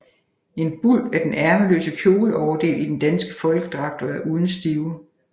En bul er den ærmeløse kjoleoverdel i den danske folkedragt og er uden stiver